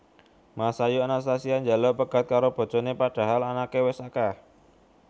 Masayu Anastasia njaluk pegat karo bojone padahal anake wes akeh